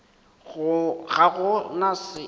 ga go na se o